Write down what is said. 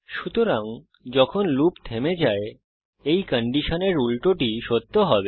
সুতরাং যখন লুপ থেমে যায় এই কন্ডিশনের উল্টোটি সত্য হবে